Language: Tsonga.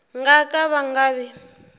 nga ka va nga vi